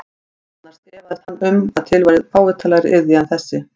Annars efaðist hann um að til væri fávitalegri iðja en þessi.